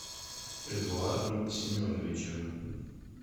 эдуардом семеновичем